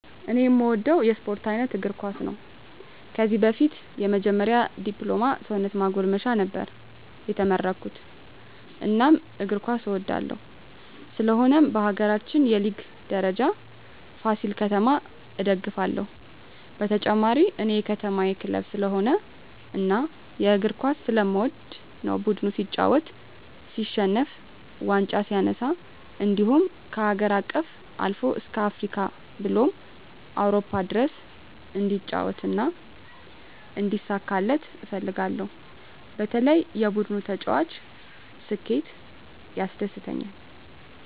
እኔ እምወደው የስፓርት አይነት እግርኳስ ነው ከዚህ በፊት የመጀመሪ ድፕሎማ ሰውነት ማጎልመሻ ነበር የተመረኩት እናም እግር ኳስ እወዳለሁ ስለሆነም በሀገራችን የሊግ ደረጃ ፍሲል ከተማ እደግፍለ ሁ በተጨማሪ እኔ የከተማየ ክለብ ስለሆነ እና እግር ኳስ ስለምወድ ነው ቡድኑ ሲጫወት ሲሸንፍ ዋንጫ ሲነሳ እንድሁም ከሀገር አቀፍ አልፎ እስከ አፍሪካ ብሎም አውሮፓ ድረስ እንዲጫወት እና እንዲሳካለት እፈልጋለሁ በተለይ የቡድኑ ተጫዋች ስኬት ያስደስተኛል።